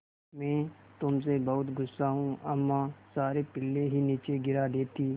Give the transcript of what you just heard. मैं तुम से बहुत गु़स्सा हूँ अम्मा सारे पिल्ले ही नीचे गिरा देतीं